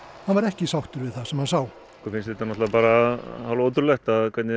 hann var ekki sáttur við það sem hann sá mér finnst þetta bara hálfótrúlegt hvernig